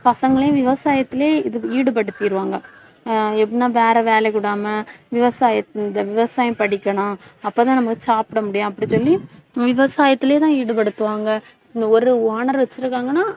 பசங்களையும் விவசாயத்திலே ஈடுபடுத்திருவாங்க. ஆஹ் எப்படின்னா வேற வேலைக்கு விடாம விவசாய இந்த விவசாயம் படிக்கணும் அப்ப தான் நம்ம சாப்பிட முடியும் அப்படின்னு சொல்லி விவசாயத்திலயேதான் ஈடுபடுத்துவாங்க. இந்த ஒரு owner வச்சிருக்காங்கன்னா